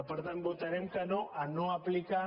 per tant votarem que no a no aplicar